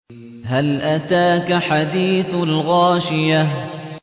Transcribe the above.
هَلْ أَتَاكَ حَدِيثُ الْغَاشِيَةِ